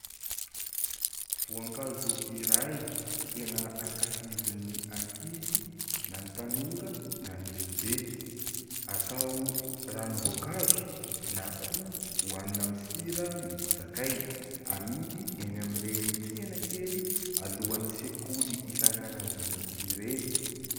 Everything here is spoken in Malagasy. Voankazo iray tena ankafizin'ny ankizy na ny tanora na ny lehibe. Atao ranom-boankazo na koa hoanina amin'ny sira misy sakay, amidy eny amin'ireny tsena kely alohan'ny sekoly isan-karazany ireny.